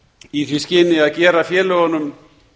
í því skyni að gera félögunum